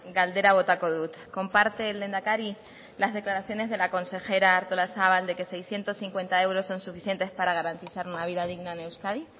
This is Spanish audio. galdera botako dut comparte el lehendakari las declaraciones de la consejera artolazabal de que seiscientos cincuenta euros son suficientes para garantizar una vida digna en euskadi